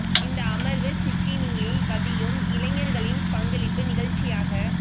இந்த அமர்வு சிட்னியில் வதியும் இளைஞர்களின் பங்களிப்பு நிகழ்ச்சியாக